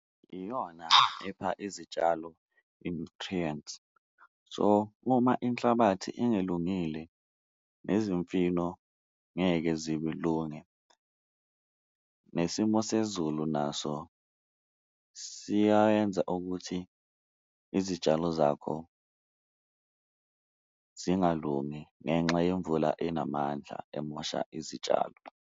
Iyona epha izitshalo i-nutrients so, uma inhlabathi ingelungile nezimfino ngeke zilunge. Nesimo sezulu naso siyayenza ukuthi, izitshalo zakho zingalungi ngenxa yemvula enamandla emosha izitshalo.